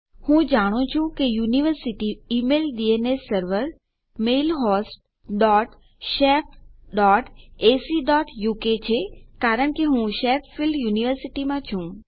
હું જાણું છું કે મારી university email DNS server mailhost dot shef dot AC dot uk છે કારણ કે હું શેફિલ્ડ શેફીલ્ડ યુનિવર્સિટીમાં છું